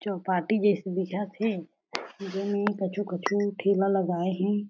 चौ पार्टी जिसे दिखत हे जेमे कछु कछु ठेला लगाए हे।